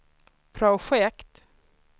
projekt